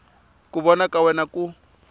ku vona ka wena ku